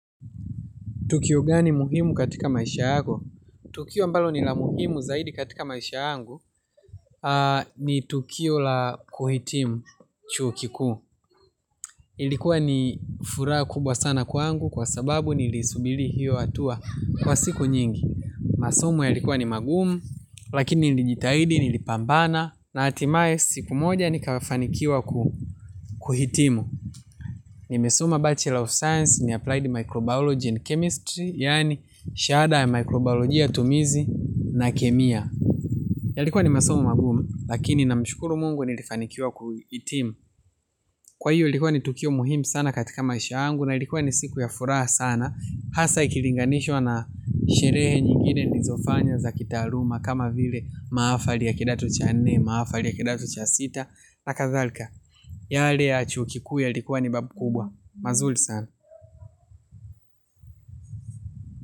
Tukio gani muhimu katika maisha yako? Tukio ambalo ni la muhimu zaidi katika maisha yangu ni tukio la kuhitimu chuo kikuu. Ilikuwa ni furaha kubwa sana kwangu kwa sababu niliisubili hiyo hatua kwa siku nyingi. Masomo yalikuwa ni magumu lakini nilijitahidi nilipambana na hatimaye siku moja nikafanikiwa kuhitimu. Nimesoma bachelor of science in applied microbiology and chemistry yaani shahada ya microbiolojia tumizi na kemia. Yalikuwa ni masomo maguma lakini na namshukuru mungu nilifanikiwa kuhitimu. Kwa hiyo ilikuwa ni tukio muhimu sana katika maisha yangu na ilikuwa ni siku ya furaha sana hasa ikilinganishwa na sherehe nyingine nilizofanya za kitaaluma kama vile maafali ya kidato cha nne, maafali ya kidato cha sita na kadhalika. Yale ya chuo kikuu yalikuwa ni makubwa, mazuri sana.